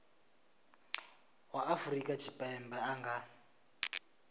wa afrika tshipembe a nga